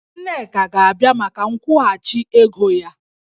Nneka ga-abịa maka nkwụghachi ego ya